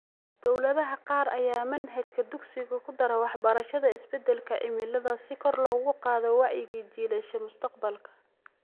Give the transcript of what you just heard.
Dawladaha qaar ayaa manhajka dugsiga ku dara waxbarashada isbeddelka cimilada si kor loogu qaado wacyiga jiilasha mustaqbalka.